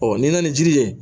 ni na na ni jiri ye